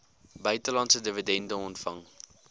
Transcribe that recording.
buitelandse dividende ontvang